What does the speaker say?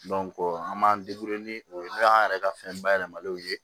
an b'an ni o ye an yɛrɛ ka fɛn bayɛlɛmalenw ye